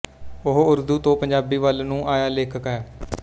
ਓਹ ਊਰਦੂ ਤੋਂ ਪੰਜਾਬੀ ਵੱਲ ਨੂੰ ਆਇਆ ਲੇਖਕ ਹੈ